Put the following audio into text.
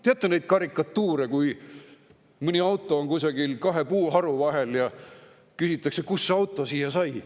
Teate neid karikatuure, kui mõni auto on kusagil kahe puuharu vahel, ja küsitakse, kust see auto siia sai.